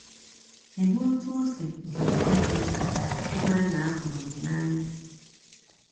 Kedụ otu ọ sị gị di gị mkpa ịmara na ahụrụ gị n'anya?